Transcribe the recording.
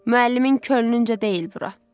Müəllimin könlüncə deyil bura.